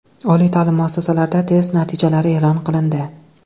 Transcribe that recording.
Oliy ta’lim muassasalarida test natijalari e’lon qilindi .